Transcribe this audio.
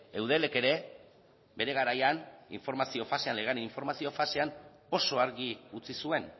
eudelek ere bere garaian informazio fasean legearen informazio fasean oso argi utzi zuen